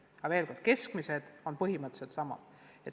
Aga veel kord: keskmised näitajad on põhimõtteliselt samad.